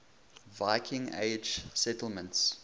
viking age settlements